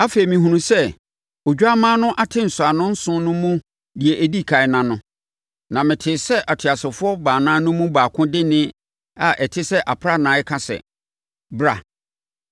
Afei, mehunuu sɛ Odwammaa no ate nsɔano nson no mu deɛ ɛdi ɛkan ano, na metee sɛ ateasefoɔ baanan no mu baako de nne a ɛte sɛ aprannaa reka sɛ, “Bra!”